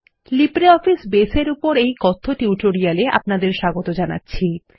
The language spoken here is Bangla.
লিব্রিঅফিস বেস এর উপর এই কথ্য টিউটোরিয়ালে আপনাদের স্বাগত জানাচ্ছি